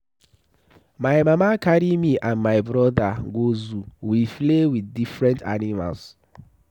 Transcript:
My mama carry me and my broda go zoo. We play with different animals.